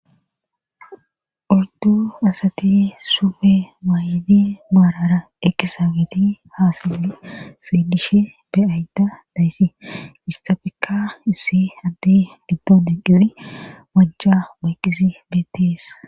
Odu asati sufe maayidi maarara ekisa gati haasali sielishe beyayta dayssi istafekka issi addi didome qiri majja moykisi beettees.